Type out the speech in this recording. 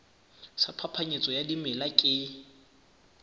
sa phapanyetso ya dimela ke